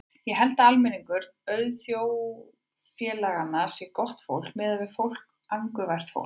Ég held að almenningur auðvaldsþjóðfélaganna sé gott fólk, mikið fólk, angurvært fólk.